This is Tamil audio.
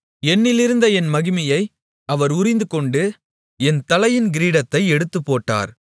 என்னிலிருந்த என் மகிமையை அவர் உரிந்துகொண்டு என் தலையின் கிரீடத்தை எடுத்துப்போட்டார்